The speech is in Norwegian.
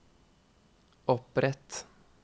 opprett